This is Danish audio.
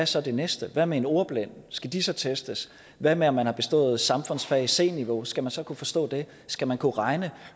så det næste hvad med ordblinde skal de så testes hvad med om man har bestået samfundsfag på c niveau skal man så kunne forstå det skal man kunne regne